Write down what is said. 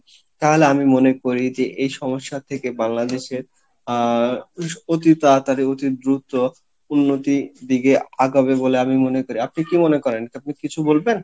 তাহলে আমি মনে করি যে এই সমস্যা থেকে বাংলাদেশে আহ অতি তাড়াতাড়ি অতি দ্রুত উন্নতি দিয়ে আগাবে বলে আমি মনে করি আপনি কী মনে করেন? আপনি কিছু বলবেন?